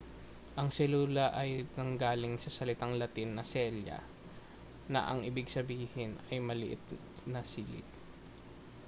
ang selula ay nanggaling sa salitang latin na cella na ang ibig sabihin ay maliit na silid